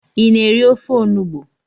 I na-eri ofe onugbo?